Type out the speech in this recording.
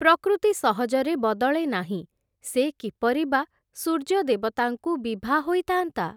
ପ୍ରକୃତି ସହଜରେ ବଦଳେ ନାହିଁ, ସେ କିପରି ବା ସୂର୍ଯ୍ୟଦେବତାଙ୍କୁ ବିଭା ହୋଇଥା’ନ୍ତା ।